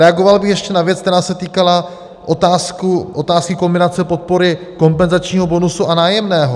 Reagoval bych ještě na věc, která se týkala otázky kombinace podpory kompenzačního bonusu a nájemného.